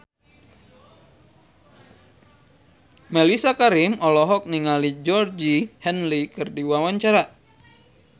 Mellisa Karim olohok ningali Georgie Henley keur diwawancara